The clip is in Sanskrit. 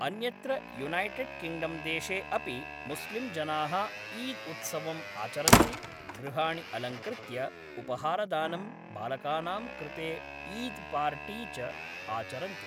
अन्यत्र युनैटड् किङ्ग्डम्देशे अपि मुस्लिम्जनाः ईद् उत्सवम् आचरन्ति, गृहाणि अलङ्कृत्य, उपहारदानं, बालकानां कृते ईद् पार्टि च आचरन्ति।